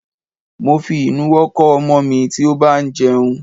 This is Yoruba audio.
Mo fi ìnuwọ́ kọ́ ọmọ mi tí ó bá ń jẹun.